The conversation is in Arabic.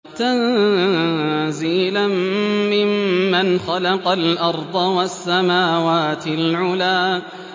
تَنزِيلًا مِّمَّنْ خَلَقَ الْأَرْضَ وَالسَّمَاوَاتِ الْعُلَى